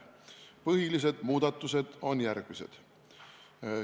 Põhilised muudatused on järgmised.